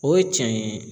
O ye cɛn ye